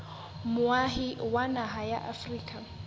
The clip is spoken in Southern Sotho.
moahi wa naha ya afrika